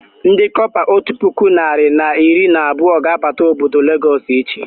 Ndị kọpa otu puku narị na iri na abụọ ga abata obodo Lagos echi